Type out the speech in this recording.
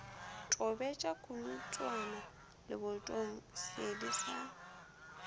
tobeletša konotswana lebotong seedi sa